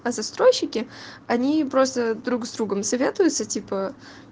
а застройщики они просто друг с другом советуются типа